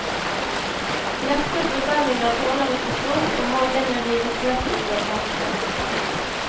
Lette presenninger tåler ikke stort og maljene rives lett ut av festet.